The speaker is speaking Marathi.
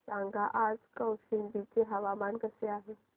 सांगा आज कौशंबी चे हवामान कसे आहे